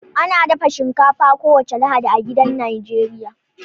Ana dafa shinkafa kowace Lahadi a gidajen Najeriya